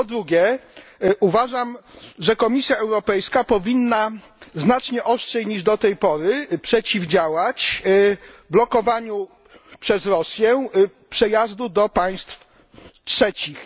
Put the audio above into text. Po drugie, uważam, że Komisja Europejska powinna znacznie ostrzej niż do tej pory przeciwdziałać blokowaniu przez Rosję przejazdu do państw trzecich.